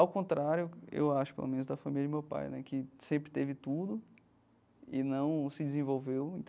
Ao contrário, eu acho, pelo menos da família de meu pai né, que sempre teve tudo e não se desenvolveu.